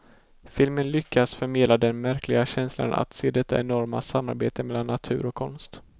Filmen lyckas förmedla den märkliga känsla att se detta enorma samarbete mellan natur och konst.